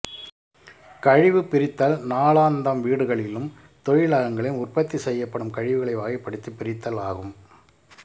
கழிவு பிரித்தல் நாளாந்தம் வீடுகளிலும் தொழிலகங்களிலும் உற்பத்தி செய்யப்படும் கழிவுகளை வகைப்படுத்தி பிரித்தல் ஆகும்